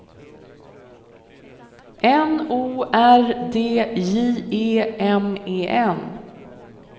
N O R D J E M E N